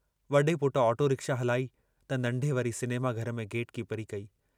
वॾे पुटु auto rickshaw हलाई त नंढे वरी सिनेमा घर में गेट कीपरी कई।